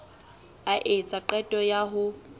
a etsa qeto ya ho